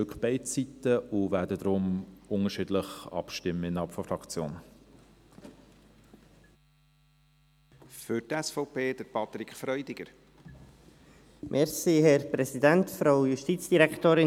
Wir sehen beide Seiten und werden deshalb innerhalb der Fraktion unterschiedlich abstimmen.